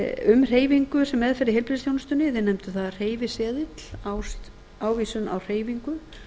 um hreyfingu sem meðferð í heilbrigðisþjónustunni við nefndum það hreyfiseðil ávísun á hreyfingu